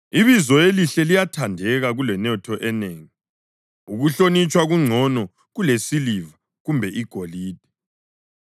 Ibizo elihle liyathandeka kulenotho enengi; ukuhlonitshwa kungcono kulesiliva kumbe igolide.